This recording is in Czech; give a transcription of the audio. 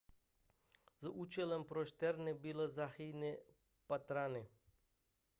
za účelem prošetření bylo zahájeno pátrání